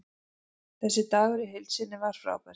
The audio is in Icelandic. Þessi dagur í heild sinni var frábær.